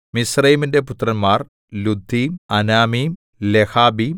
മിസ്രയീമിന്റെ പുത്രന്മാർ Ludim Anamim ലെഹാബീം